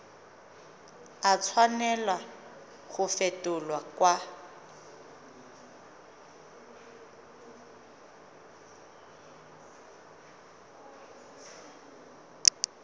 a tshwanela go fetolwa kwa